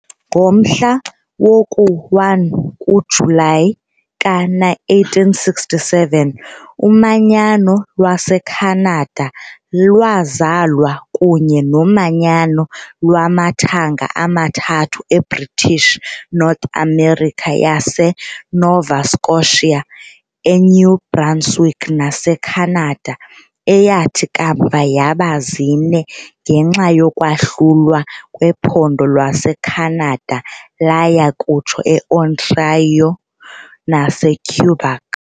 Ngomhla woku-1 kuJulayi ka-1867, umanyano lwaseKhanada lwazalwa kunye nomanyano lwamathanga amathathu eBritish North America yaseNova Scotia, eNew Brunswick naseCanada , eyathi kamva yaba zine ngenxa yokwahlulwa kwephondo laseCanada laya kutsho eOntario naseQuebec.